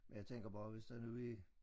Men jeg tænker bare hvis der nu er